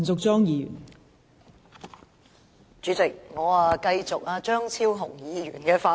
代理主席，我接續張超雄議員的發言。